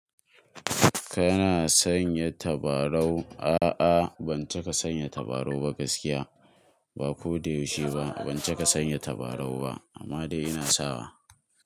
Kana sanya tabarau? A'a ban cika sanya tabarau ba gaskiya, ba ko da yaushe ba. Ban cika sanya tabarau ba amma dai ina sawa.